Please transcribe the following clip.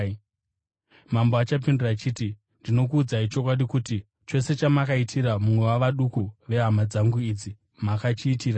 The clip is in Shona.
“Mambo achapindura achiti, ‘Ndinokuudzai chokwadi kuti, chose chamakaitira mumwe wavaduku vehama dzangu idzi, makachiitira ini.’